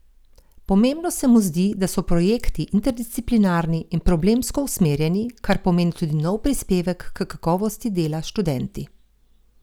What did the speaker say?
Pomembno se mu zdi, da so projekti interdisciplinarni in problemsko usmerjeni, kar pomeni tudi nov prispevek k kakovosti dela s študenti.